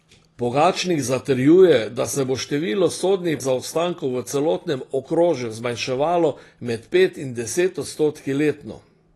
Pogačnik načrtuje, da se bo število sodnih zaostankov v celotnem okrožju zmanjševalo med pet in deset odstotki letno.